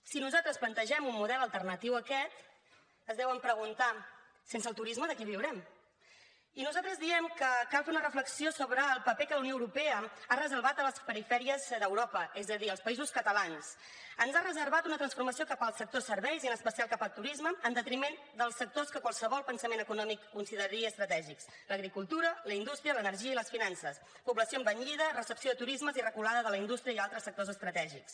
si nosaltres plantegem un model alternatiu a aquest es deuen preguntar sense el turisme de què viurem i nosaltres diem que cal fer una reflexió sobre el paper que la unió europea ha reservat a les perifèries d’europa és a dir als països catalans ens ha reservat una transformació cap al sector serveis i en especial cap al turisme en detriment dels sectors que qualsevol pensament econòmic consideraria estratègics l’agricultura la indústria l’energia i les finances població envellida recepció de turismes i reculada de la indústria i altres sectors estratègics